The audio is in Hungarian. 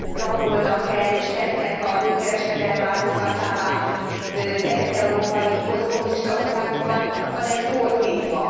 rabolnak el és tesznek a nőkereskedelem áldozatává kelet európai posztkommunista országokban, hanem fordítva.